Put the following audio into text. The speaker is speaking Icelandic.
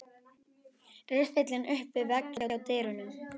Riffillinn upp við vegg hjá dyrunum.